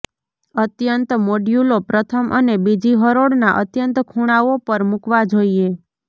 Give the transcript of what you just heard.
અત્યંત મોડ્યુલો પ્રથમ અને બીજી હરોળના અત્યંત ખૂણાઓ પર મૂકવા જોઈએ